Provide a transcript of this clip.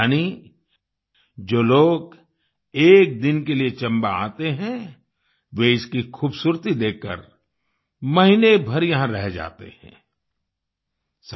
यानि जो लोग एक दिन के लिए चंबा आते हैं वे इसकी खूबसूरती देखकर महीने भर यहां रह जाते हैं आई